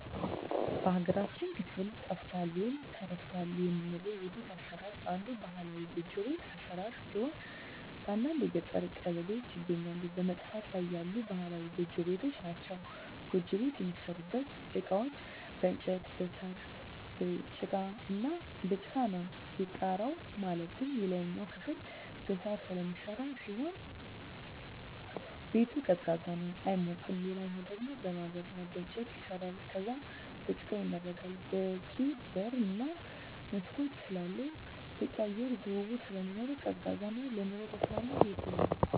በሀገራችን ክፍል ጠፍቷል ወይም ተረስቷል የምለው የቤት አሰራር አንዱ ባህላዊ ጎጆ ቤት አሰራር ሲሆን በአንዳንድ የገጠር ቀበሌዎች ይገኛሉ በመጥፋት ላይ ያሉ ባህላዊ ጎጆ ቤቶች ናቸዉ። ጎጆ ቤት የሚሠሩበት እቃዎች በእንጨት እና በሳር፣ በጭቃ ነው። የጣራው ማለትም የላይኛው ክፍል በሳር ስለሚሰራ ሲሆን ቤቱ ቀዝቃዛ ነው አይሞቅም ሌላኛው ደሞ በማገር እና በእንጨት ይሰራል ከዛም በጭቃ ይመረጋል በቂ በር እና መስኮት ስላለው በቂ የአየር ዝውውር ስለሚኖር ቀዝቃዛ እና ለኑሮ ተስማሚ ቤት ነው።